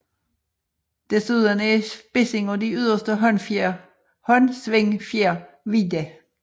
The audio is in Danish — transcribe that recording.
Desuden er spidsen af de yderste håndsvingfjer hvide